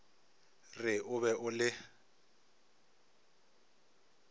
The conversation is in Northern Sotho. re o be o le